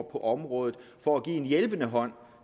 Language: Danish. på området for at give en hjælpende hånd